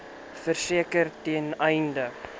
verseker ten einde